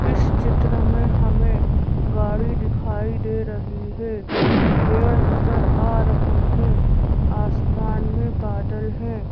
इस चित्र में हमें गाड़ी दिखाई दे रही है। पेड़ नजर आ रहे हैं। आसमान में बादल है।